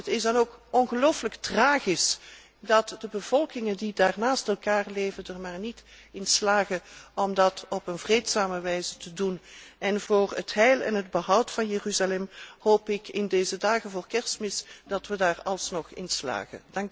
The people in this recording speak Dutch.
Het is dan ook ongelooflijk tragisch dat de bevolkingen, die daar naast elkaar leven, er maar niet in slagen om dat op een vreedzame wijze te doen en voor het heil en het behoud van Jeruzalem hoop ik in deze dagen voor Kerstmis dat we daar alsnog in slagen.